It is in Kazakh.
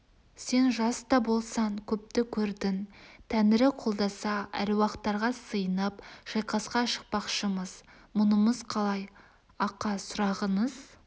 сен жас та болсаң көпті көрдің тәңірі қолдаса әруақтарға сыйынып шайқасқа шықпақшымыз мұнымыз қалай ақа сұрағыңыз